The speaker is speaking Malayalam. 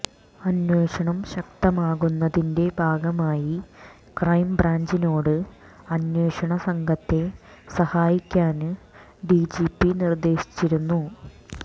അന്വേഷണം ശക്തമാക്കുന്നതിന്റെ ഭാഗമായി ക്രൈംബ്രാഞ്ചിനോട് അന്വേഷണ സംഘത്തെ സഹായിക്കാന് ഡി ജി പി നിര്ദേശിച്ചിരുന്നു